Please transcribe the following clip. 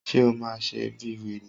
Ṣé o máa ṣe bíi wèrè?